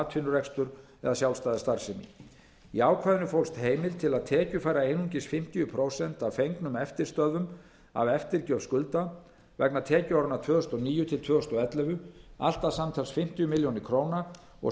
atvinnurekstur eða sjálfstæða starfsemi í ákvæðinu fólst heimild til að tekjufæra einungis fimmtíu prósent af fengnum eftirstöðvum af eftirgjöf skulda vegna tekjuáranna tvö þúsund og níu til tvö þúsund og ellefu allt að samtals fimmtíu milljónir króna og